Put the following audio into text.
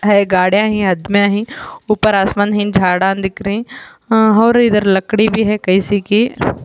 یہ گاڑیا ہے آدمیہ ہے اپر آسمان ہے جھادہ دیکھ رہی اور ادھر لکدی بھی ہے کیسے کی --